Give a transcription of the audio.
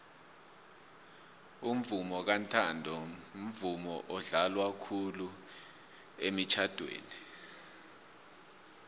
umvomo kantanto mvumo odlalwa khulu emitjhadweni